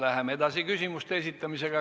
Läheme edasi küsimuste esitamisega.